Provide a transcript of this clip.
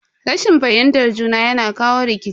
Rashin fahimtar juna yana jawo rikici.